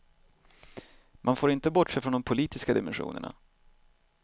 Man får inte bortse från de politiska dimensionerna.